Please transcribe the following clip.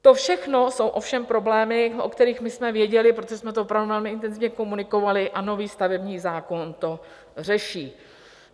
To všechno jsou ovšem problémy, o kterých my jsme věděli, protože jsme to opravdu velmi intenzivně komunikovali, a nový stavební zákon to řeší.